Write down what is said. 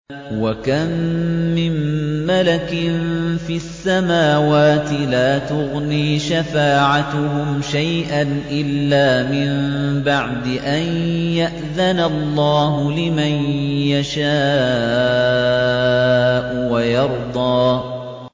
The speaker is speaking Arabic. ۞ وَكَم مِّن مَّلَكٍ فِي السَّمَاوَاتِ لَا تُغْنِي شَفَاعَتُهُمْ شَيْئًا إِلَّا مِن بَعْدِ أَن يَأْذَنَ اللَّهُ لِمَن يَشَاءُ وَيَرْضَىٰ